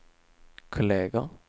kolleger